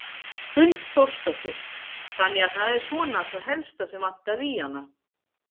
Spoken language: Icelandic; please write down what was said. Hrund Þórsdóttir: Þannig að það er svona það helsta sem vantaði í hana?